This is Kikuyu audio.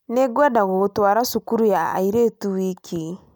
Nĩngwenda gũgũtwara cukuru ya airĩtu wiki